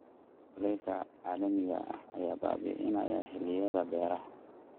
Kulaylka caalamiga ah ayaa baabi'inaya xilliyada beeraha.